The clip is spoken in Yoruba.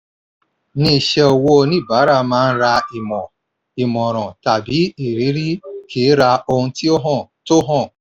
ní iṣẹ́ owó oníbàárà máa ń ra ìmọ̀ ìmọ̀ràn tàbí ìrírí kì í ra ohun tó hàn. tó hàn.